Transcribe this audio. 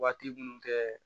Waati minnu tɛ